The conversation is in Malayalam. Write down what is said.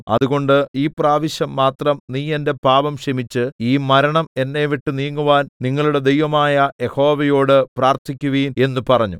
അതുകൊണ്ട് ഈ പ്രാവശ്യം മാത്രം നീ എന്റെ പാപം ക്ഷമിച്ച് ഈ മരണം എന്നെവിട്ടു നീങ്ങുവാൻ നിങ്ങളുടെ ദൈവമായ യഹോവയോട് പ്രാർത്ഥിക്കുവിൻ എന്ന് പറഞ്ഞു